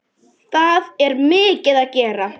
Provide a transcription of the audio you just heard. Það er mikið að gera.